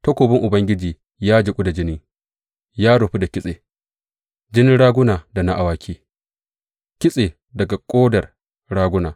Takobin Ubangiji ya jiƙu da jini, ya rufu da kitse, jinin raguna da na awaki, kitse daga ƙodar raguna.